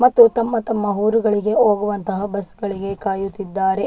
ಮತ್ತು ತಮ್ಮ ತಮ್ಮ ಊರುಗಳಿಗೆ ಹೋಗುವಂತಹ ಬಸ್ ಗಳಿಗೆ ಕಾಯುತ್ತಿದ್ದಾರೆ ..